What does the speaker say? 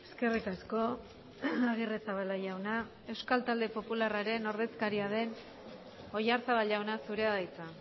eskerrik asko agirrezabala jauna euskal talde popularraren ordezkaria den oyarzabal jauna zurea da hitza